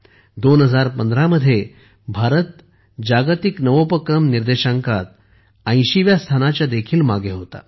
2015 मध्ये भारत जागतिक नवोपक्रम निर्देशांकात 80 व्या स्थानाच्या देखील मागे होता